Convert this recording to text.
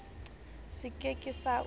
se ke ke sa o